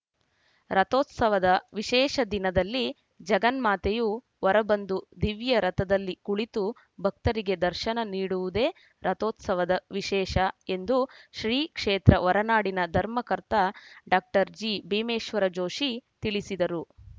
ರಥೋತ್ಸವದ ವಿಶೇಷ ದಿನದಲ್ಲಿ ಜಗನ್ಮಾತೆಯು ಹೊರಬಂದು ದಿವ್ಯ ರಥದಲ್ಲಿ ಕುಳಿತು ಭಕ್ತರಿಗೆ ದರ್ಶನ ನೀಡುವುದೇ ರಥೋತ್ಸವದ ವಿಷೇಶ ಎಂದು ಶ್ರೀಕ್ಷೇತ್ರ ಹೊರನಾಡಿನ ಧರ್ಮಕರ್ತ ಡಾಕ್ಟರ್ ಜಿಭೀಮೇಶ್ವರ ಜೋಷಿ ತಿಳಿಸಿದರು